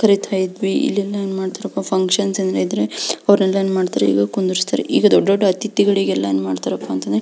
ಕರೀತಾ ಇದ್ವಿ ಇಲ್ಲೆಲ್ಲಾ ಏನ್ಮಾಡ್ತಾರಪ್ಪ ಅಂದ್ರೆ ಫ್ಯಾಂಕ್ಷನ್ ಏನಾದ್ರು ಇದ್ರೆ ಅವ್ರೇಲ್ಲ ಏನ್ ಮಾಡ್ತಾರೆ ಈಗ ಕುಂದ್ರಿಸ್ತಾರೆ ಈಗ ದೊಡ್ಡ ದೊಡ್ಡ ಅಥಿತಿಗಳಿಗೆಲ್ಲ ಏನ್ಮಾಡ್ತಾರಪ ಅಂದ್ರೆ--